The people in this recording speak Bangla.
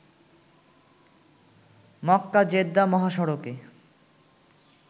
মক্কা-জেদ্দা মহাসড়কে